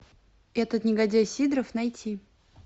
этот негодяй сидоров найти